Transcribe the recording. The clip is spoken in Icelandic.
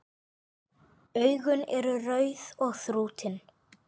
Augun eru rauð og þrútin.